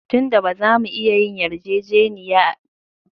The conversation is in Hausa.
Tun da ba za mu iya yin yarjejeniya ba, a fili ba za mu dosa ba